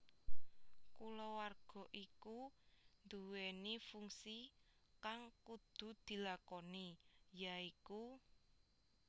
Kulawarga iku nduwèni fungsi kang kudu dilakoni ya iku